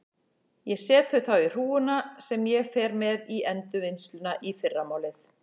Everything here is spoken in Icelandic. Ég set þau þá í hrúguna sem ég fer með í endurvinnsluna í fyrramálið.